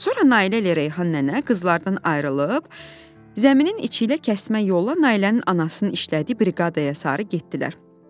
Sonra Nailə ilə Reyhan nənə qızlardan ayrılıb, zəminin içi ilə kəsmə yolla Nailənin anasının işlədiyi briqadaya sarı getdilər.